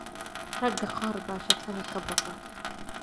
Ragga qaar baa shaqada ka baqa